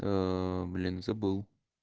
ээ блин забыл